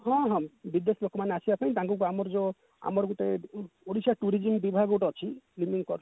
ହଁ ହଁ ବିଦେଶ ଲୋକମାନେ ଆସିବା ପାଇଁ ତାଙ୍କୁ ଆମର ଯଉ ଆମର ଗୋଟେ ଓଡିଶା tourism ବିଭାଗ ଗୋଟେ ଅଛି